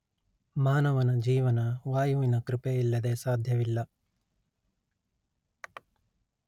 ಮಾನವನ ಜೀವನ ವಾಯುವಿನ ಕೃಪೆಯಿಲ್ಲದೆ ಸಾಧ್ಯವಿಲ್ಲ